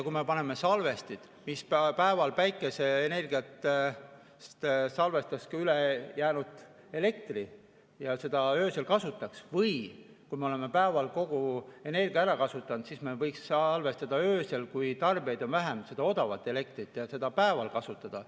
Kui me paneme salvestid, mis päeval päikeseenergiat salvestavad, ja üle jäänud elektrit saaks öösel kasutada, või kui me oleme päeval kogu energia ära kasutanud, siis me võiksime salvestada öösel, kui tarbijaid on vähem, seda odavat elektrit ja seda päeval kasutada.